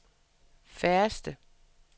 færreste